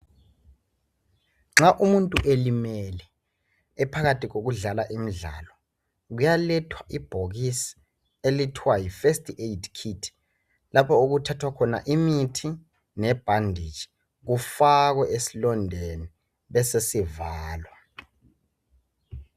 Nxa umuntu elimele ephakathi kokudlala imidlalo kuyalethwa ibhokisi elithiwa yi first aid kit, lapho okuthiwa khona imithi nebhanditshi. kufakwe esilondeni besesivalwa.